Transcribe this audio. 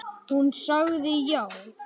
Hún sagði já.